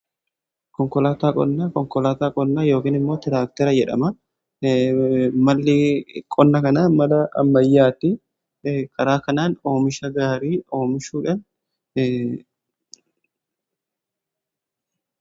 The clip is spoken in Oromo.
konkolaataa qonnaa yookiin immoo tiraaktera jedhama. malli qonna kanaa mala ammayyaatti karaa kanaan oomisha gaarii oomishuudha.